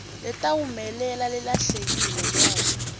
letawumelela lelahlekile nobe